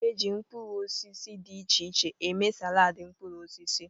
A na-eji mkpụrụ osisi dị iche iche eme saladi mkpụrụ osisi.